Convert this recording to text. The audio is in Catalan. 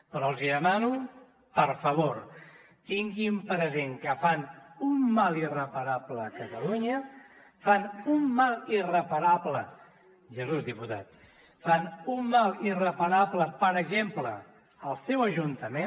però els demano per favor que tinguin present que fan un mal irreparable a catalunya fan un mal irreparable jesús diputat per exemple al seu ajuntament